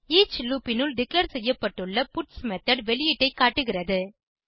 each loop னுள் declare செய்யப்பட்டுள்ள puts method வெளியீட்டை காட்டுகிறது